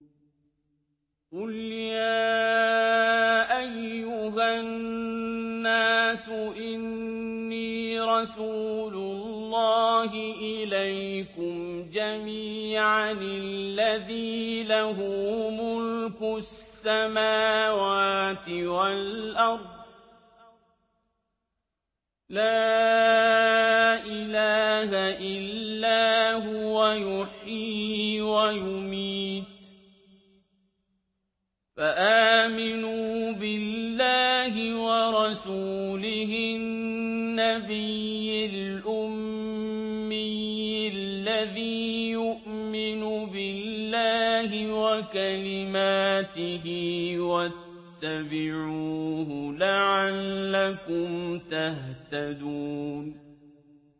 قُلْ يَا أَيُّهَا النَّاسُ إِنِّي رَسُولُ اللَّهِ إِلَيْكُمْ جَمِيعًا الَّذِي لَهُ مُلْكُ السَّمَاوَاتِ وَالْأَرْضِ ۖ لَا إِلَٰهَ إِلَّا هُوَ يُحْيِي وَيُمِيتُ ۖ فَآمِنُوا بِاللَّهِ وَرَسُولِهِ النَّبِيِّ الْأُمِّيِّ الَّذِي يُؤْمِنُ بِاللَّهِ وَكَلِمَاتِهِ وَاتَّبِعُوهُ لَعَلَّكُمْ تَهْتَدُونَ